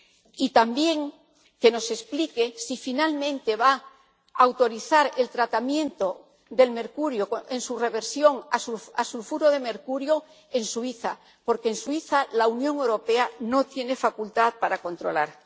Y también, que nos explique si finalmente va a autorizar el tratamiento del mercurio en su reversión a sulfuro de mercurio en Suiza, porque en Suiza la Unión Europea no tiene facultad para controlar.